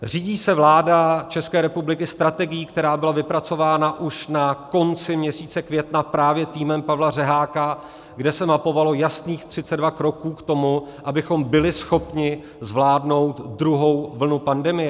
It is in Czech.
Řídí se vláda České republiky strategií, která byla vypracována už na konci měsíce května právě týmem Pavla Řeháka, kde se mapovalo jasných 32 kroků k tomu, abychom byli schopni zvládnout druhou vlnu pandemie?